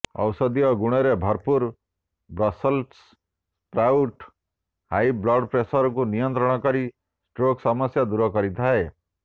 ଔଷଧୀୟ ଗୁଣରେ ଭରପୂର ବ୍ରସଲ୍ସ ସ୍ପ୍ରାଉଟ୍ ହାଇ ବ୍ଲଡ ପ୍ରେସରକୁ ନିୟନ୍ତ୍ରଣ କରି ଷ୍ଟ୍ରୋକ ସମସ୍ୟା ଦୂର କରିଥାଏ